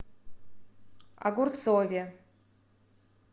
огурцове